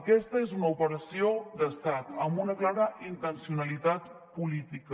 aquesta és una operació d’estat amb una clara intencionalitat política